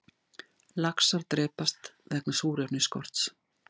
Laxar drepast vegna súrefnisskorts